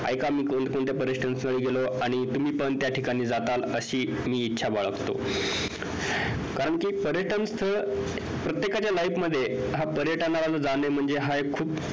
एक मी कोण कोणत्या पर्यटनस्थळी गेलो आणि तुम्ही पण त्या ठिकाणी जाणार अशी मी इच्छा बाळगतो कारण कि पर्यटनस्थळ प्रत्येकाच्या life मध्ये हा पर्यटनाला जाणे म्हणजे हा खूप